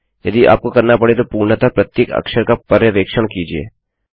यदि आपको करना पड़े तो पूर्णतः प्रत्येक अक्षर का पर्यवेक्षण कीजिये